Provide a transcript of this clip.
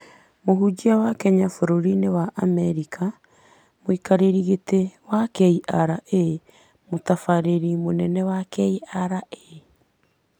mũhunjia wa Kenya bũrũriinĩ wa Amerika, mũikarĩri gĩtĩ wa KRA, mũtabarĩri mũnene wa KRA,